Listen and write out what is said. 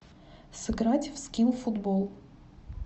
сыграть в скилл футбол